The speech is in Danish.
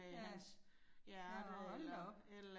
Ja. Ja, hold da op